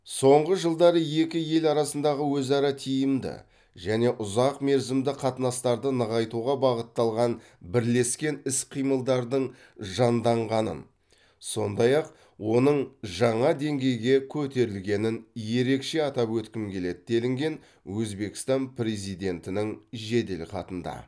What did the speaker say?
соңғы жылдары екі ел арасындағы өзара тиімді және ұзақ мерзімді қатынастарды нығайтуға бағытталған бірлескен іс қимылдардың жанданғанын сондай ақ оның жаңа деңгейге көтерілгенін ерекше атап өткім келеді делінген өзбекстан президентінің жеделхатында